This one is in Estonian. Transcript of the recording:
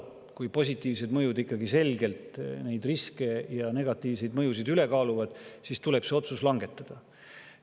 Kui positiivsed mõjud ikkagi selgelt neid riske ja negatiivseid mõjusid üle kaaluvad, siis tuleb see otsus langetada.